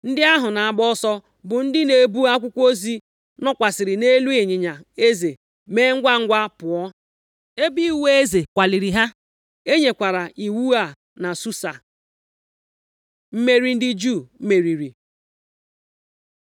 Ndị ahụ na-agba ọsọ, bụ ndị na-ebu akwụkwọ ozi, nọkwasịrị nʼelu ịnyịnya eze mee ngwangwa pụọ, ebe iwu eze kwaliri ha. E nyekwara iwu a na Susa. Mmeri ndị Juu meriri